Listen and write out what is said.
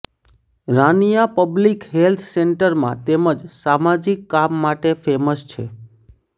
Rania public health સેક્ટરમાં તેમજ સામાજિક કામ માટે ફેમસ છે